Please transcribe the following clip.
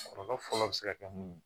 Kɔlɔlɔ fɔlɔ bi se ka kɛ mun ye